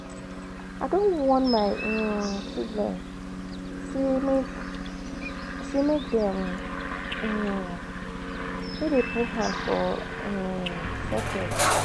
I don warn my um children sey make sey make dem um no dey put hand um for socket.